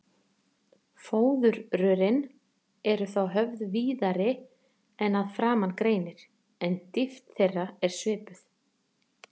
Fóðurrörin eru þá höfð víðari en að framan greinir, en dýpt þeirra er svipuð.